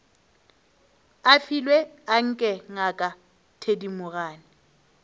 a filwe anke ngaka thedimogane